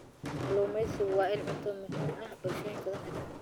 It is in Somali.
Kalluumaysigu waa il cunto oo muhiim ah bulshooyin badan oo adduunka ah.